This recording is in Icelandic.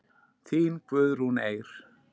Þín Guðrún Eir.